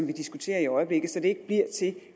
vi diskuterer i øjeblikket altså så det ikke bliver til